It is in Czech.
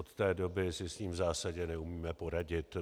Od té doby si s ním v zásadě neumíme poradit.